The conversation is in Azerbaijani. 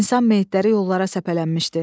İnsan meyitləri yollara səpələnmişdi.